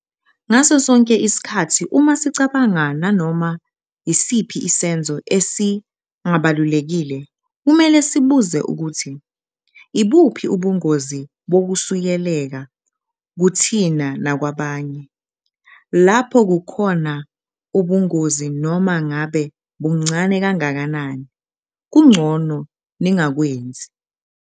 Ngaso sonke isikhathi uma sicabanga nanoma isiphi isenzo esingabalulekile, kumele sibuze ukuthi- ibuphi ubungozi bokusuleleka kuthina nakwabanye? Lapho kukhona khona ubungozi, noma ngabe buncane kangakanani, kungcono ningakwenzi.